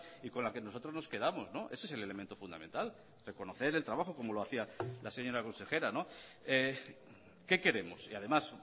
y con la que nosotros nos quedamos ese es el elemento fundamental reconocer el trabajo como lo hacía la señora consejera qué queremos y además